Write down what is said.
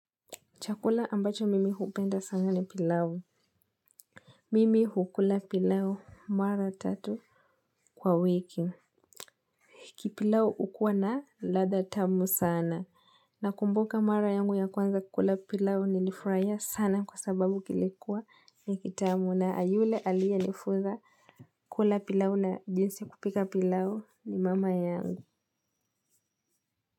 Chakula ambacho mimi hupenda sana ni pilau. Mimi hukula pilau mara tatu kwa wiki. Hiki pilau ukua na latha tamu sana nakumbuka mara yangu ya kwanza kukula pilau ni nilifuraia sana kwa sababu kilikuwa ni kitamu na yule alia nifunza kukula pilau na jinsi kupika pilau ni mama yangu.